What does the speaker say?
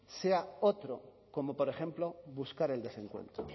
sea otro como por ejemplo buscar el desencuentro